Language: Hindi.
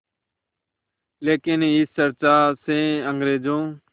लेकिन इस चर्चा से अंग्रेज़ों